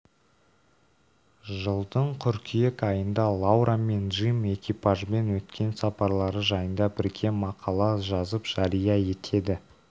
жылдың қыркүйек айында лаура мен джим экипажбен өткен сапарлары жайында бірге мақала жазып жария етеді